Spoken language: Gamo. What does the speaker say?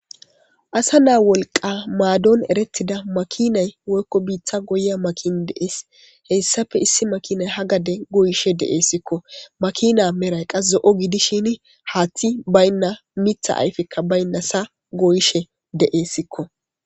asa naa wolqa maadon erettida makinay woykko biitha goya makin deees hessafe issi makinay ha gade goyishe de7eessikko makina meray qas zo7o gidishini haaththi baynna mitha ayfekka baynna sa goyishe deeessikko